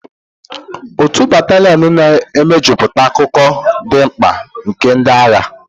Otu batalionu na mejupụta akụkụ dị mkpa nke ndị agha.